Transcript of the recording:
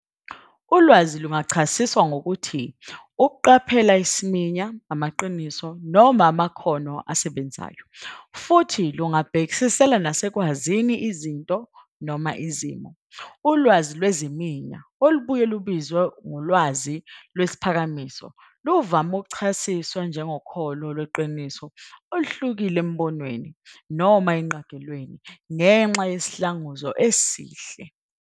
ULwazi lungachasiswa ngokuthi ukuqaphela isiminya, amaqiniso, noma amakhono asebenzayo, futhi lungabhekisela nasekwazini izinto noma izimo. Ulwazi lweziminya, olubuye lubizwe ulwazi lwesiphakamiso, luvame ukuchasiswa njengokholo lweqiniso oluhlukile embonweni noma ingqagelweni ngenxa yesihlanguzo esihle.